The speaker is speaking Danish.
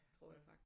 Tror jeg faktisk